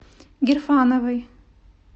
гирфановой